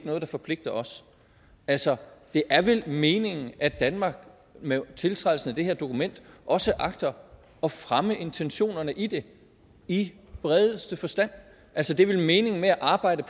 noget der forpligter os altså det er vel meningen at danmark med tiltrædelsen af det her dokument også agter at fremme intentionerne i det i bredeste forstand altså det er vel meningen med at arbejde